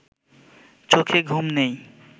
চোখে ঘুম নেই